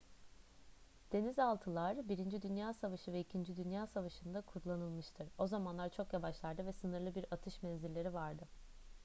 denizaltılar i dünya savaşı ve ii dünya savaşı'nda kullanılmıştır o zamanlar çok yavaşlardı ve sınırlı bir atış menzilleri vardı